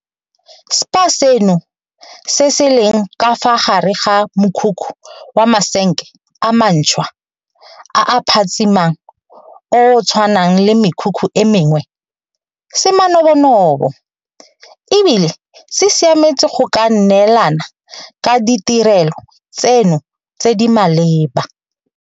Spa seno, se se leng ka fa gare ga mokhukhu wa masenke a mantšhwa a a phatsimang o o tshwanang le mekhukhu e mengwe, se manobonobo e bile se siametse go ka neelana ka ditirelo tseno tse di maleba.